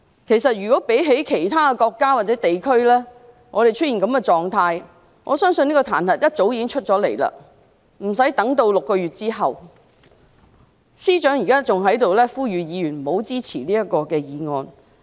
其實，如果其他國家或地區出現這種狀況，我相信彈劾議案早已出現，無須等待6個月後才提出，司長還在此呼籲議員不要支持這項議案。